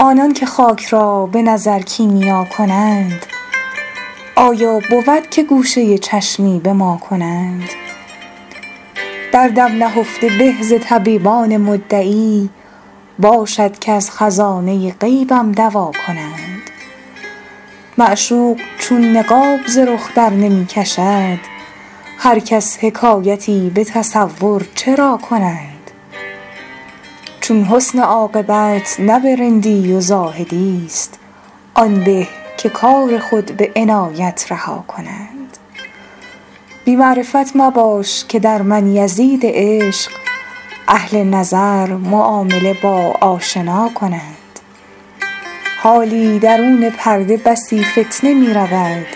آنان که خاک را به نظر کیمیا کنند آیا بود که گوشه چشمی به ما کنند دردم نهفته به ز طبیبان مدعی باشد که از خزانه غیبم دوا کنند معشوق چون نقاب ز رخ درنمی کشد هر کس حکایتی به تصور چرا کنند چون حسن عاقبت نه به رندی و زاهدی ست آن به که کار خود به عنایت رها کنند بی معرفت مباش که در من یزید عشق اهل نظر معامله با آشنا کنند حالی درون پرده بسی فتنه می رود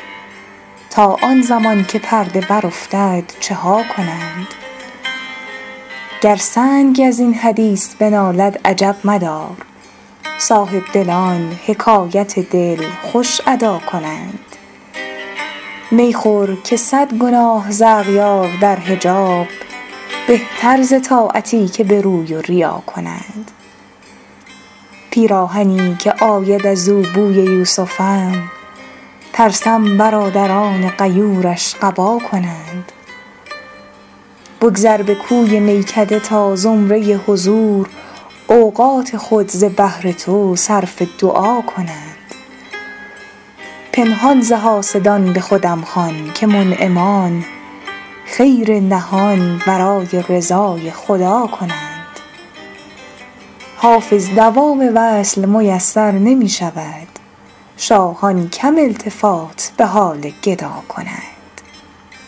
تا آن زمان که پرده برافتد چه ها کنند گر سنگ از این حدیث بنالد عجب مدار صاحبدلان حکایت دل خوش ادا کنند می خور که صد گناه ز اغیار در حجاب بهتر ز طاعتی که به روی و ریا کنند پیراهنی که آید از او بوی یوسفم ترسم برادران غیورش قبا کنند بگذر به کوی میکده تا زمره حضور اوقات خود ز بهر تو صرف دعا کنند پنهان ز حاسدان به خودم خوان که منعمان خیر نهان برای رضای خدا کنند حافظ دوام وصل میسر نمی شود شاهان کم التفات به حال گدا کنند